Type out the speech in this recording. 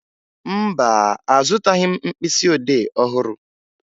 Mba, azụtaghị m mkpịsịodee ọhụrụ